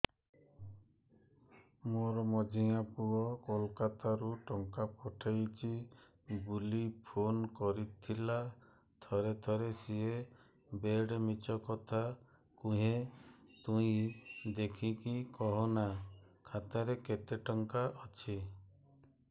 ମୋର ମଝିଆ ପୁଅ କୋଲକତା ରୁ ଟଙ୍କା ପଠେଇଚି ବୁଲି ଫୁନ କରିଥିଲା ଥରେ ଥରେ ସିଏ ବେଡେ ମିଛ କଥା କୁହେ ତୁଇ ଦେଖିକି କହନା ଖାତାରେ କେତ ଟଙ୍କା ଅଛି